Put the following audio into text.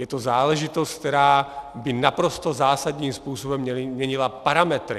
Je to záležitost, která by naprosto zásadním způsobem měnila parametry.